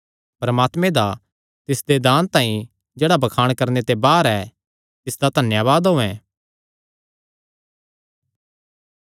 परमात्मे दा तिसदे दान तांई जेह्ड़ा बखान करणे ते बाहर ऐ तिसदा धन्यावाद होयैं